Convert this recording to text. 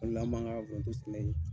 O la an b'an ka foronto sɛnɛ yen